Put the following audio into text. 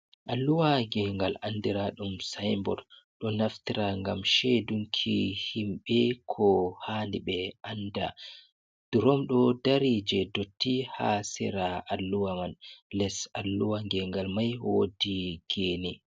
Alluwa geengal anndiraaɗum sayinbod, ɗo naftira ngam ceedunki himɓe, ko haani ɓe annda. Durom ɗo dari jey ndotti haa sera alluwa man, les alluwa geengal may woodi geene.